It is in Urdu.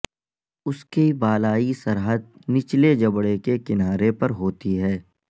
اس کی بالائی سرحد نچلے جبڑے کے کنارے پر ہوتی ہے